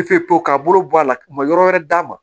Pewu pewu ka bolo bɔ a la u ma yɔrɔ wɛrɛ d'a ma